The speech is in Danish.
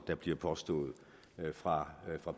der bliver påstået fra